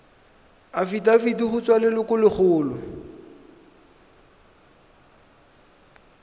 afitafiti go tswa go lelokolegolo